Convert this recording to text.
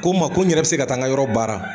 Ko n ma ko n yɛrɛ bi se ga taa yɔrɔ baara.